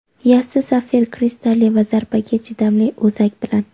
yassi sapfir kristalli va zarbaga chidamli o‘zak bilan.